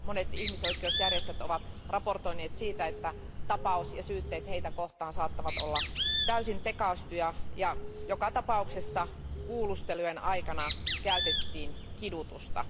Monet ihmisoikeusjärjestöt ovat raportoineet siitä, että tapaus ja syytteet heitä kohtaan saattavat olla täysin tekaistuja ja joka tapauksessa kuulustelujen aikana käytettiin kidutusta.